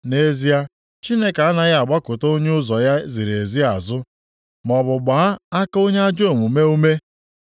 “Nʼezie Chineke anaghị agbakụta onye ụzọ ya ziri ezi azụ, maọbụ gbaa aka onye ajọ omume ume.